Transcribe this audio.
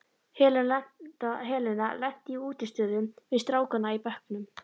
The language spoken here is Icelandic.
Helena lenti í útistöðum við strákana í bekknum.